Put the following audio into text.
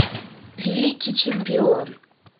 великий чемпион